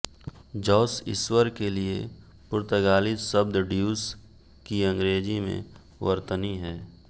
Jos ईश्वर के लिए पुर्तगाली शब्द ड्यूस की अंग्रेजी में वर्तनी है